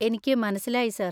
എനിക്ക് മനസ്സിലായി സാർ.